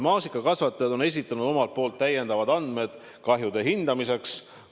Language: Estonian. Maasikakasvatajad on esitanud omalt poolt täiendavad andmed kahjude hindamiseks.